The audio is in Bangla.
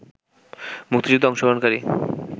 মুক্তিযুদ্ধে অংশগ্রহণকারী